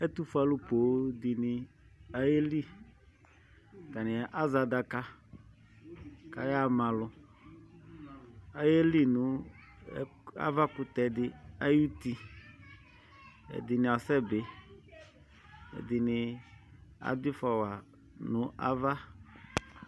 Ɛtufue alu poooŋ dini ayeliAtani azɛ adaka, kayaɣa ma aluAyeli nʋ avakutɛ di ayiʋ utiƐdini asɛbiƐdini adʋ ifɔ wanu ava